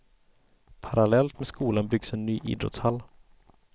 Parallellt med skolan byggs en ny idrottshall.